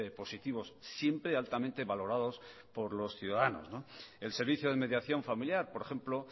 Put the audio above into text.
positivos siempre altamente valorados por los ciudadanos el servicio de mediación familiar por ejemplo